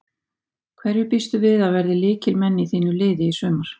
Hverjir býstu við að verði lykilmenn í þínu liði í sumar?